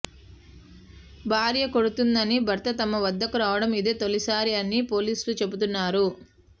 భార్య కొడుతోందని భర్త తమ వద్దకు రావడం ఇదే తొలిసారి అని పోలీసులు చెబుతున్నారు